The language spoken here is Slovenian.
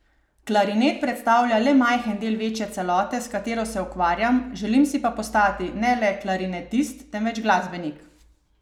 Klarinet predstavlja le majhen del večje celote, s katero se ukvarjam, želim si pa postati ne le klarinetist, temveč glasbenik.